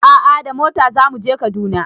A'a da mota zamu je Kaduna